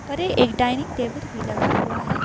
परे एक dining table भी लगा हुआ है।